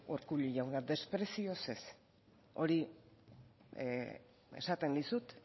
urkullu jauna desprezioz ez hori esaten dizut